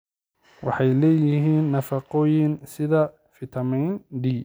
Waxay leeyihiin nafaqooyin sida fitamiin D.